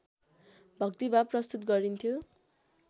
भक्तिभाव प्रस्तुत गरिन्थ्यो